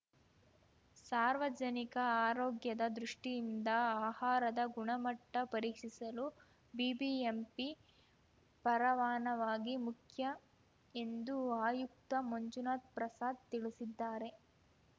ಸಾರ್ವಜನಿಕ ಆರೋಗ್ಯದ ದೃಷ್ಟಿಯಿಂದ ಆಹಾರದ ಗುಣಮಟ್ಟಪರೀಕ್ಷಿಸಲು ಬಿಬಿಎಂಪಿ ಪರವಾನವಾಗಿ ಮುಖ್ಯ ಎಂದು ಆಯುಕ್ತ ಮಂಜುನಾಥ್‌ ಪ್ರಸಾದ್‌ ತಿಳುಸಿದ್ದಾರೆ